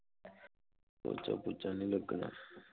ਪੋਚਾ ਪੁਚਾ ਨਹੀਂ ਲਗਣਾ